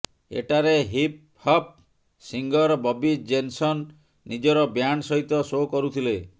ଏଠାରେ hip hop singer Bobby Jenson ନିଜର band ସହିତ ଶୋ କରୁଥିଲେ